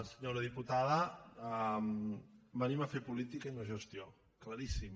senyora diputada venim a fer política i no gestió claríssim